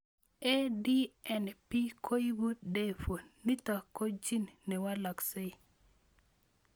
ADNP koipu de vo ,nitok ko gene newalaksei